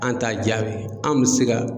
An t'a jaabi, anw bi se ka